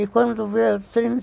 E quando veio o trin